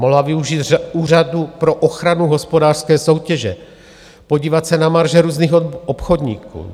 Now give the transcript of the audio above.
Mohla využít Úřadu pro ochranu hospodářské soutěže, podívat se na marže různých obchodníků.